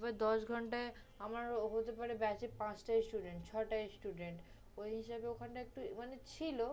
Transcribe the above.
মানে দশ ঘন্টায় আমার হতে পারে basic পাঁচ টা student ছয় টা student । ঐ হিসেবে ওখানে একটু মানে ছিলো